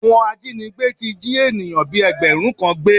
Àwọn ajínigbé ti jí ènìyàn bíi ẹgbẹ̀rún kan gbé